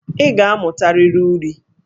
Ị ga-amụtarịrị uri!